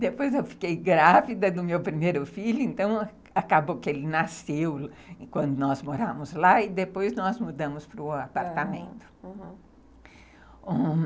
Depois eu fiquei grávida do meu primeiro filho, então acabou que ele nasceu quando nós morámos lá e depois nós mudamos para o apartamento, aham,